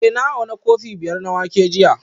Eh na auna kofi biyar na wake jiya